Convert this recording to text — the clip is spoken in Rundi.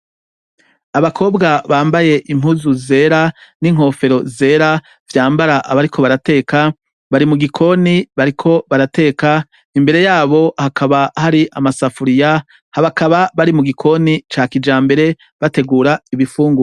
Abakobwa bambaye impuzu zera n'inkofero zera vyambara abariko barateka bari mu gikoni bariko barateka imbere yabo hakaba hari amasafuriya habakaba bari mu gikoni ca kija mbere bategura ibifunguwa.